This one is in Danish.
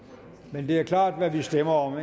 men det er klart hvad vi stemmer om